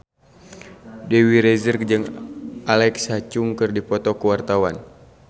Dewi Rezer jeung Alexa Chung keur dipoto ku wartawan